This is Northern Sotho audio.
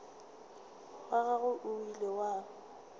wa gagwe o ile wa